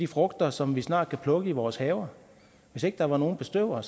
frugter som vi snart kan plukke i vores haver hvis ikke der var nogle bestøvere